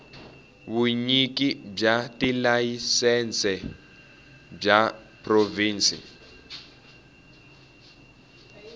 vunyiki bya tilayisense bya provhinsi